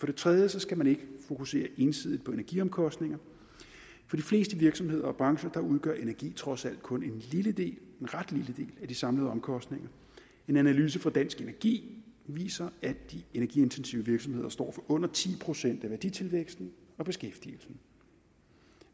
det tredje skal man ikke fokusere ensidigt på energiomkostninger for de fleste virksomheder og brancher udgør energi trods alt kun en ret lille del af de samlede omkostninger en analyse fra dansk energi viser at de energiintensive virksomheder står for under ti procent af værditilvæksten og beskæftigelsen